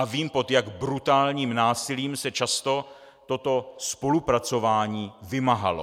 A vím, pod jak brutálním násilím se často toto spolupracování vymáhalo.